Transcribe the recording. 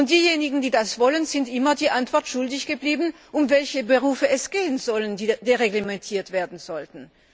Diejenigen, die das wollen, sind immer die Antwort schuldig geblieben, um welche Berufe es gehen soll, die dereglementiert werden sollten.